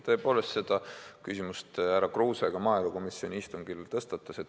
Tõepoolest, selle küsimuse tõstatas härra Kruuse ka maaelukomisjoni istungil.